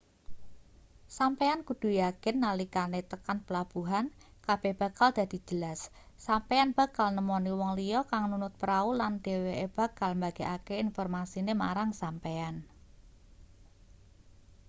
sampeyan kudu yakin nalikane tekan pelabuhan kabeh bakal dadi jelas sampeyan bakal nemoni wong liya kang nunut prau lan dheweke bakal mbagekake informasine marang sampeyan